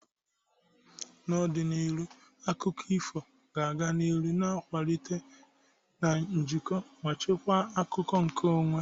N'ọdịnihu, akụkọ ifo ga-aga n'ihu na-akwalite njikọ ma chekwaa akụkọ nkeonwe.